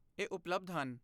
ਇਹ ਉਪਲਬਧ ਹਨ।